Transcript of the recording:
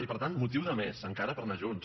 i per tant motiu de més encara per anar junts